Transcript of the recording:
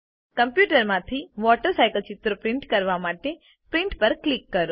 કમ્પ્યુટરમાંથી water cycle ચિત્ર print કરવા માટે પ્રિન્ટ પર ક્લિક કરો